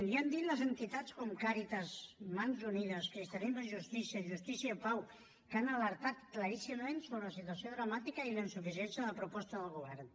l’hi han dit les entitats com càritas mans unides cristianisme i justícia justícia i pau que han alertat claríssimament sobre la situació dramàtica i la insuficiència de la proposta del govern